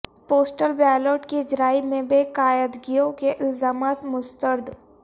postal ballot کی اجرائی میں بے قاعدگیوں کے الزامات مسترد